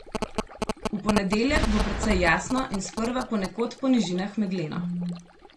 V ponedeljek bo precej jasno in sprva ponekod po nižinah megleno.